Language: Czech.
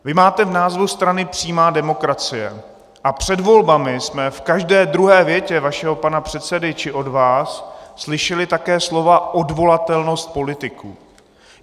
Vy máte v názvu strany přímá demokracie a před volbami jsme v každé druhé větě vašeho pana předsedy či od vás slyšeli také slova odvolatelnost politiků.